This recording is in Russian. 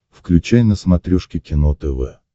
включай на смотрешке кино тв